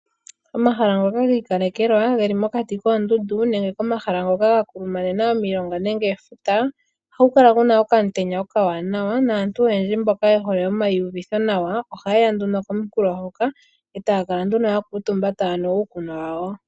Omahala ngoka gi ikalekelwa ge li mokati koondundu nenge komahala ngoka ga kulumanena omilonga nenge efuta ohaku kala ku na okamutenya okawanawa, naantu oyendji mboka ye hole oku iyuvitha nawa ohaye ya nduno komunkulo hoka taya kala nduno ya kuuntumba taya nu uukunwa wawo.